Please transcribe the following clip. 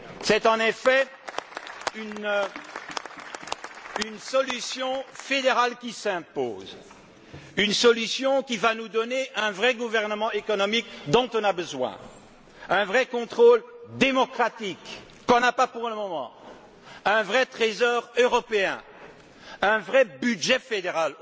C'est en effet une solution fédérale qui s'impose, une solution qui nous donnera un vrai gouvernement économique dont nous avons besoin un vrai contrôle démocratique que nous n'avons pas pour le moment un vrai trésor européen et un vrai budget fédéral,